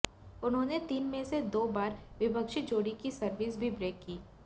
उन्होंने तीन में से दो बार विपक्षी जोड़ी की सर्विस भी ब्रेक की